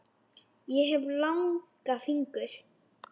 Ég hef langa fingur.